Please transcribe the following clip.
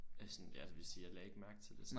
Eller sådan jeg vil sige jeg lagde ikke mærke til det så